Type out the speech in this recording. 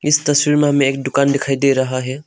इस तस्वीर में हमें एक दुकान दिखाई दे रहा है।